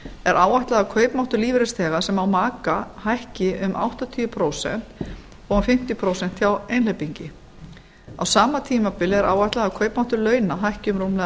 er áætlað að kaupmáttur lífeyrisþega sem á maka hækki um áttatíu prósent og fimmtíu prósent hjá einhleypingi á sama tímabili er áætlað að kaupmáttur launa hækki um rúmlega